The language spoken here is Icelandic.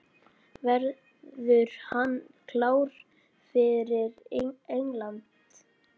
Verður hann klár fyrir England?